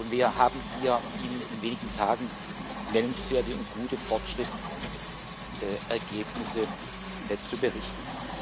Wir haben Ihnen hier in wenigen Tagen nennenswerte und gute Fortschrittsergebnisse zu berichten.